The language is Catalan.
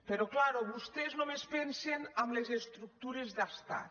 però clar vostès només pensen en les estructures d’estat